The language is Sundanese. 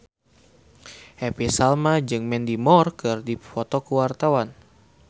Happy Salma jeung Mandy Moore keur dipoto ku wartawan